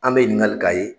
An bɛ ɲininkali k'a ye